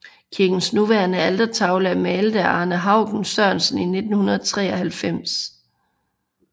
Kirkens nuværende altertavle er malet af Arne Haugen Sørensen i 1993